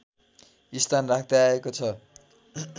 स्थान राख्दै आएको छ